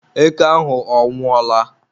eke ahụ ọ nwụọla?